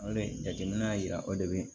O le jateminɛ y'a yira o de bɛ